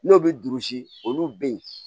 N'o bɛ duuru si olu bɛ ye